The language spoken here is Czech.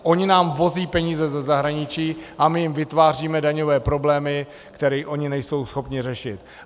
Oni nám vozí peníze ze zahraničí a my jim vytváříme daňové problémy, které oni nejsou schopni řešit.